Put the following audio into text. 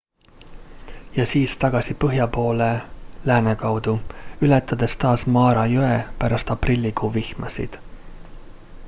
ja siis tagasi põhja poole lääne kaudu ületades taas mara jõe pärast aprillikuu vihmasid